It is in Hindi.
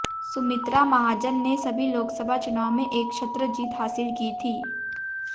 सुमित्रा महाजन ने सभी लोकसभा चुनाव में एकछत्र जीत हासिल की थी